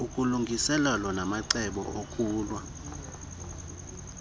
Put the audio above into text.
ulungiselelo namacebo okulwa